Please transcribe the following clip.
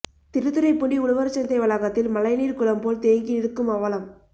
திருத்துறைப்பூண்டி உழவர்சந்தை வளாகத்தில் மழைநீர் குளம் போல் தேங்கி நிற்கும் அவலம்